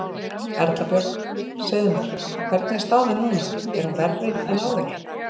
Erla Björg: Segðu mér, hvernig er staðan núna, er hún verri en áður?